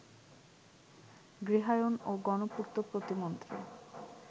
গৃহায়ন ও গণপূর্ত প্রতিমন্ত্রী